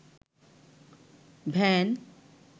van